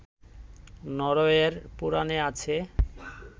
নরওয়ের পুরাণে আছে